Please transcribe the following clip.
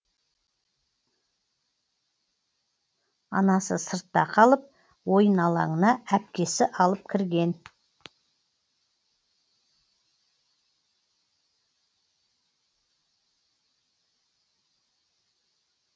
анасы сыртта қалып ойын алаңына әпкесі алып кірген